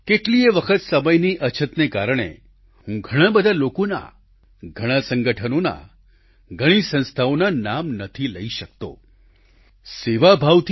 કેટલીયે વખત સમયની અછતને કારણે હું ઘણાં લોકોનાં ઘણાં સંગઠનોના ઘણી સંસ્થાઓના નામ નથી લઈ શકતો સેવાભાવથી